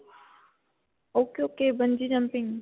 ok. ok. bungee jumping.